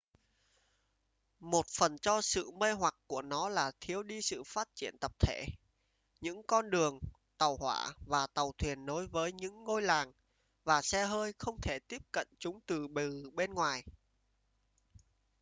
một phần cho sự mê hoặc của nó là thiếu đi sự phát triển tập thể những con đường tàu hỏa và tàu thuyền nối với những ngôi làng và xe hơi không thể tiếp cận chúng từ bên ngoài